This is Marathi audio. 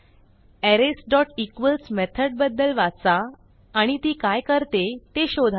arraysइक्वॉल्स मेथड बद्दल वाचा आणि ती काय करते ते शोधा